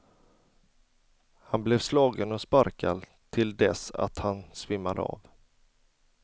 Han blev slagen och sparkad till dess att han svimmade av.